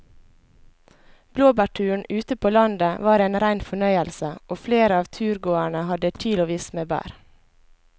Blåbærturen ute på landet var en rein fornøyelse og flere av turgåerene hadde kilosvis med bær.